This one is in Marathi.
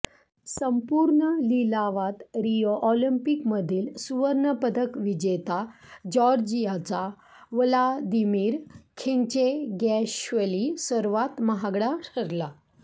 संपूर्ण लिलावात रिओ ऑलिंपिकमधील सुवर्णपदक विजेता जॉर्जियाचा व्लादिमीर खिन्चेगॅश्वली सर्वात महागडा ठरला